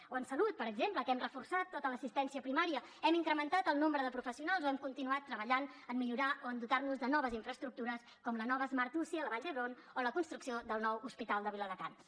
o en salut per exemple que hem reforçat tota l’assistència primària hem incrementat el nombre de professionals o hem continuat treballant en millorar o en dotar nos de noves infraestructures com la nova smart uci a la vall d’hebron o la construcció del nou hospital de viladecans